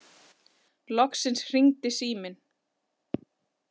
Loksins hringdi síminn.